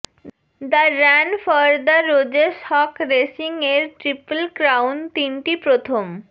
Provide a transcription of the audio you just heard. the run for the roses হক racing এর triple crown তিনটি প্রথম